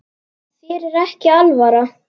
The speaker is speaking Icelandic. Þér er ekki alvara